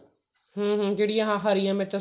ਹਮ ਹਮ ਜਿਹੜੀ ਆਹ ਹਰੀਆਂ ਮਿਰਚਾਂ